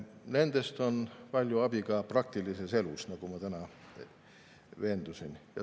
Nendest on palju abi ka praktilises elus, nagu ma täna veendusin.